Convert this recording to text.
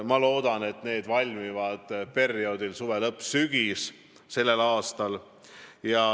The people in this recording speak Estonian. Ma loodan, et need ettepanekud valmivad tänavu suve lõpus või sügisel.